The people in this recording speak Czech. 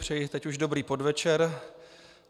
Přeji teď už dobrý podvečer.